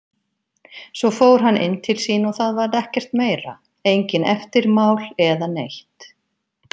Svo fór hann inn til sín og það varð ekkert meira, engin eftirmál eða neitt.